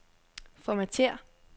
Formatér.